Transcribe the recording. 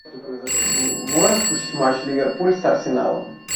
можешь включить матч ливерпуль с арсеналом